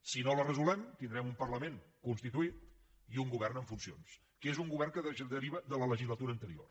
si no la resolem tindrem un parlament constituït i un govern en funcions que és un govern que deriva de la legislatura anterior